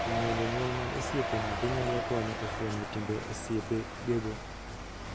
Ng'eyo jonyuol mag osiepe nyathi nyalo konyo e fwenyo timbe osiepegego.